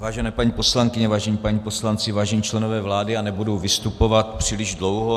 Vážené paní poslankyně, vážení páni poslanci, vážení členové vlády, já nebudu vystupovat příliš dlouho.